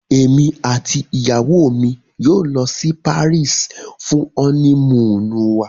Emi ati iyawo mi yoo lọ si Paris fun ọni-muunu wa